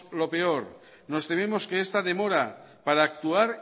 lo peor nos tememos que esta demora para actuar